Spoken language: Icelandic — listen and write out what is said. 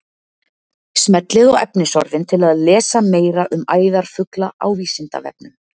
Smellið á efnisorðin til að lesa meira um æðarfugla á Vísindavefnum.